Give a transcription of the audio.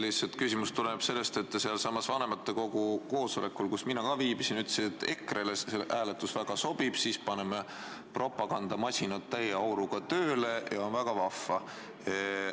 Minu küsimus tuleneb lihtsalt sellest, et te sealsamas vanematekogu koosolekul, kus mina ka viibisin, ütlesite, et EKRE-le see hääletus väga sobib – paneme propagandamasinad täie auruga tööle ja on väga vahva.